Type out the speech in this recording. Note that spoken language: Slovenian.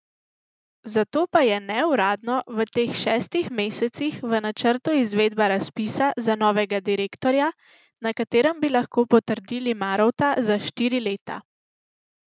Zato pa je neuradno v teh šestih mesecih v načrtu izvedba razpisa za novega direktorja, na katerem bi lahko potrdili Marovta za štiri leta.